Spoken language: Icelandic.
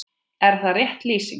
Er það rétt lýsing?